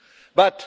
investigated